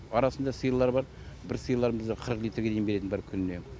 арасында сиырлар бар бір сиырларымыз қырық литрге дейін беретін бір күніне